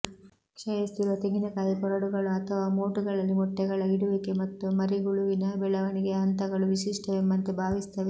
ಕ್ಷಯಿಸುತ್ತಿರುವ ತೆಂಗಿನಕಾಯಿ ಕೊರಡುಗಳು ಅಥವಾ ಮೋಟುಗಳಲ್ಲಿ ಮೊಟ್ಟೆಗಳ ಇಡುವಿಕೆ ಮತ್ತು ಮರಿಹುಳುವಿನ ಬೆಳವಣಿಗೆಯ ಹಂತಗಳು ವಿಶಿಷ್ಟವೆಂಬಂತೆ ಸಂಭವಿಸುತ್ತವೆ